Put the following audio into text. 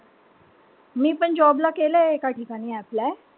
मीपण job ला केलंय एका ठिकाणी apply.